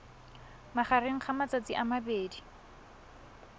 magareng ga matsatsi a mabedi